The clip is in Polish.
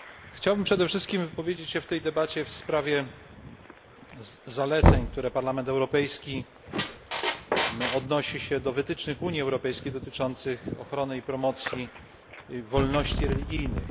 Chciałbym przede wszystkim wypowiedzieć się w tej debacie w sprawie zaleceń, w których Parlament Europejski odnosi się do wytycznych Unii Europejskiej dotyczących ochrony i propagowania wolności religijnych.